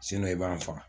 i b'an faga